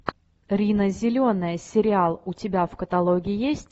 рина зеленая сериал у тебя в каталоге есть